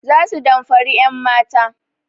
Za su damfari 'yanmata.